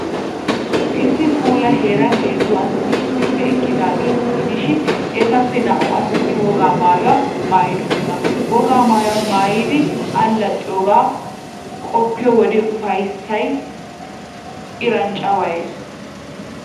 Issi puula heeran heezzu asati issippe eqqidaageeta gidishin, etappe naa''u asati wogaa maayuwaa maayidosona. Wogaa maayuwaa maayidi allaxxiyoogaa qoppiyo wode ufayssay iran cawayees.